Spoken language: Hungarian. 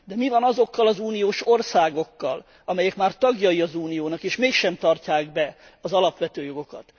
De mi van azokkal az uniós országokkal, amelyek már tagjai az Uniónak, és mégsem tartják be az alapvető jogokat?